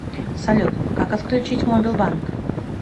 салют как отключить мобил банк